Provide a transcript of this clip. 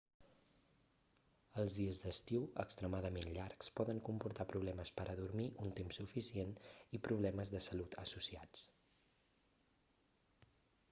els dies d'estiu extremadament llargs poden comportar problemes per a dormir un temps suficient i problemes de salut associats